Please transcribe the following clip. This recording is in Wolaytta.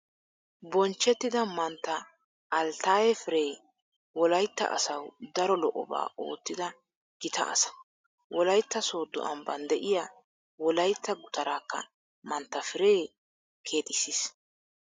Bonchchettida Mantta Alttaaye Firee Wolaytta asawu daro lo'obaa oottida gita asa. Wolaytta Sooddo ambban de'iyaa Wolaytta gutaraakka Mantta Firee keexissiis.